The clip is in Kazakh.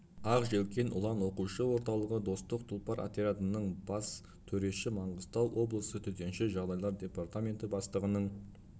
ақ желкен ұлан оқушы орталығы достық тұлпар отрядттары бас төреші маңғыстау облысы төтенше жағдайлар департаменті бастығының